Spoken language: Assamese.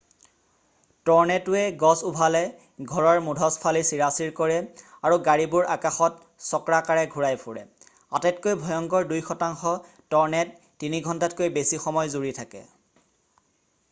ট'ৰ্নেড'ৱে গছ উভালে ঘৰৰ মুধচ ফালি চিৰাচিৰ কৰে আৰু গাড়ীবোৰ আকাশত চক্ৰাকাৰে ঘূৰাই ফুৰে আটাইতকৈ ভয়ংকৰ দুই শতাংশ ট'ৰ্নেড' তিনি ঘণ্টাতকৈ বেছি সময় জুৰি থাকে